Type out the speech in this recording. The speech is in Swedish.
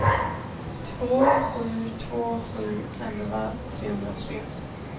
två sju två sju elva trehundratre